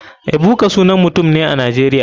Ebuka sanan mutum ne a nigeria.